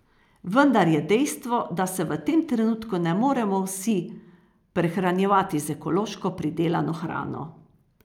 Vendar je dejstvo, da se v tem trenutku ne moremo vsi prehranjevati z ekološko pridelano hrano.